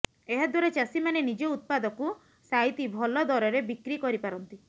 ଏହାଦ୍ୱାରା ଚାଷୀମାନେ ନିଜ ଉତ୍ପାଦକୁ ସାଇତି ଭଲ ଦରରେ ବିକ୍ର କରିପାରନ୍ତି